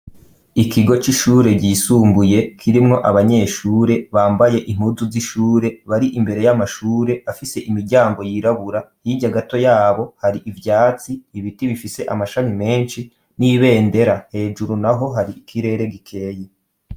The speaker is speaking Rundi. Ikigo c'ishure ryisumbuye kirimwo abanyeshure bambaye inpuzu z'ishure bari imbere y'amashure afise imiryango yirabura yijya gato yabo hari ibyatsi ibiti bifise amashami menshi n'ibendera hejuru naho hari ikirere gikeye.